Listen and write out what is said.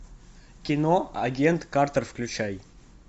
кино агент картер включай